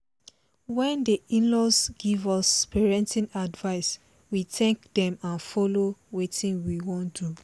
wen the in-laws give us parenting advice we thank them and follow wetin we wan do